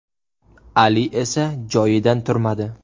Ali esa joyidan turmadi.